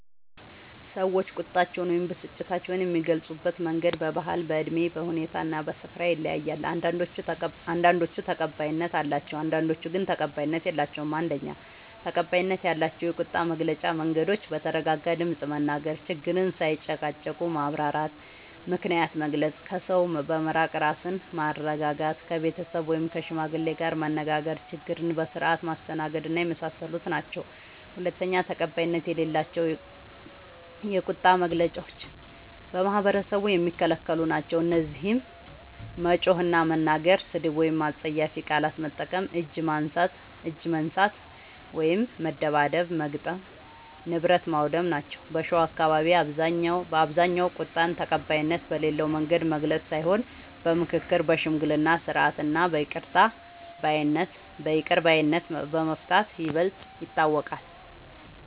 ሰዎች ቁጣቸውን ወይም ብስጭታቸውን የሚገልጹበት መንገድ በባህል፣ በእድሜ፣ በሁኔታ እና በስፍራ ይለያያል። አንዳንዶቹ ተቀባይነት አላቸው፣ አንዳንዶቹ ግን ተቀባይነት የላቸዉም። ፩. ተቀባይነት ያላቸው የቁጣ መግለጫ መንገዶች፦ በተረጋጋ ድምፅ መናገር፣ ችግርን ሳይጨቃጨቁ ማብራራት፣ ምክንያትን መግለጽ፣ ከሰው በመራቅ ራስን ማረጋጋት፣ ከቤተሰብ ወይም ከሽማግሌ ጋር መነጋገር፣ ችግርን በስርዓት ማስተናገድና የመሳሰሉት ናቸዉ። ፪. ተቀባይነት የሌላቸው የቁጣ መግለጫዎች በማህበረሰቡ የሚከለክሉ ናቸዉ። እነዚህም መጮህ እና መናገር፣ ስድብ ወይም አስጸያፊ ቃላት መጠቀም፣ እጅ ማንሳት (መደብደብ/መግጠም) ፣ ንብረት ማዉደም ናቸዉ። በሸዋ አካባቢዎች በአብዛኛዉ ቁጣን ተቀባይነት በሌለዉ መንገድ መግለጽ ሳይሆን በምክክር፣ በሽምግልና ስርዓት እና በይቅር ባይነት በመፍታት ይበልጥ ይታወቃል።